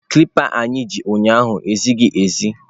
Kalịpa anyị ji ụnyaahụ ezighi ezi.